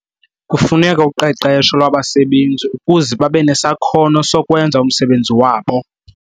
Kufuneka uqeqesho lwabasebenzi ukuze babe nesakhono sokwenza umsebenzi wabo.